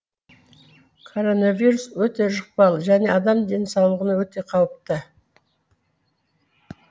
коронавирус өте жұқпалы және адам денсаулығына өте қауіпті